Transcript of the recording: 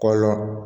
Kɔlɔn